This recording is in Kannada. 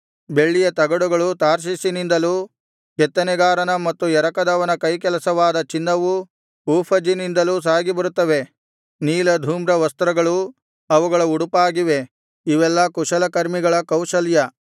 ಬೆಳ್ಳಿಯ ತಗಡುಗಳು ತಾರ್ಷೀಷಿನಿಂದಲೂ ಕೆತ್ತನೆಗಾರನ ಮತ್ತು ಎರಕದವನ ಕೈಕೆಲಸವಾದ ಚಿನ್ನವೂ ಊಫಜಿನಿಂದಲೂ ಸಾಗಿಬರುತ್ತವೆ ನೀಲಧೂಮ್ರ ವಸ್ತ್ರಗಳು ಅವುಗಳ ಉಡುಪಾಗಿವೆ ಇವೆಲ್ಲಾ ಕುಶಲಕರ್ಮಿಗಳ ಕೌಶಲ್ಯ